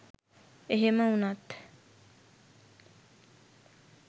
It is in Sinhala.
එහෙම වුණත්